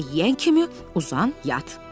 Yemək yeyən kimi uzan yat.